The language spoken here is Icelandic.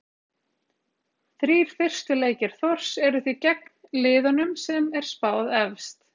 Þrír fyrstu leikir Þórs eru því gegn liðunum sem er spáð efst.